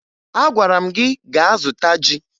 Agwara m gị gaa zụta ji!